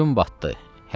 Gün batdı.